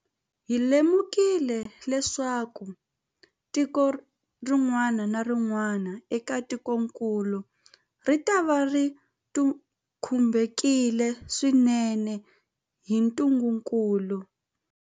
Hi lemukile leswaku tiko rin'wana na rin'wana eka tikokulu ritava ri khumbiwile swinene hi ntungukulu.